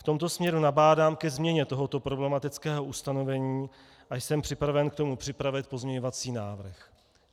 V tomto směru nabádám ke změně tohoto problematického ustanovení a jsem připraven k tomu připravit pozměňovací návrh.